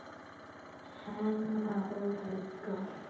Hemma og Helga.